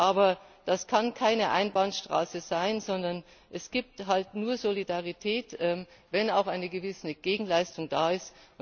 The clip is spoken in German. Aber das kann keine Einbahnstraße sein, sondern es gibt halt nur Solidarität, wenn auch eine gewisse Gegenleistung da ist.